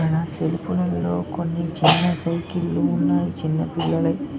ఇక్కడ సెల్పులలో కొన్ని చిన్న సైకిల్ లు ఉన్నాయి చిన్నపిల్లలకి.